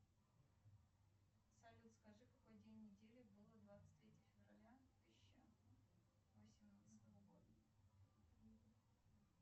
салют скажи какой день недели было двадцать третье февраля тысяча восемнадцатого года